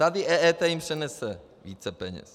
Tady EET jim přinese více peněz.